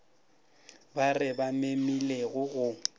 ba re ba memilego go